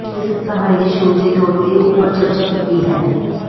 ਇਸ ਕਹਾਣੀ ਦੇ ਸ਼ੁਰੂ ਦੇ ਤੌਰ ਤੇ ਉਪਰ ਚਰਚਾ ਕੀਤੀ ਹੈ